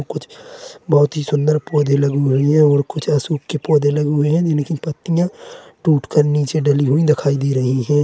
कुछ बहुत ही सुंदर पौधे लगी हुई है और कुछ अशोक के पौधे लगे हुए है जिनकी पत्तियां टूटकर नीचे डली हुई दिखाई दे रही है।